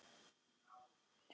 Ekki til að sofna, vinur minn.